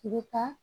U bɛ taa